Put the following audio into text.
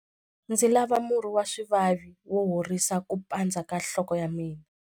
Ndzi lava murhi wa swivavi wo horisa ku pandza ka nhloko ya mina.